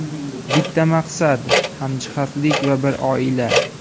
Bitta maqsad, hamjihatlik va bir oila.